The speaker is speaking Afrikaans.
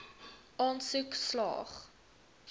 aansoek slaag